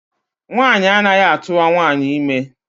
Nwaanyị anaghị atụwa nwaanyị ime.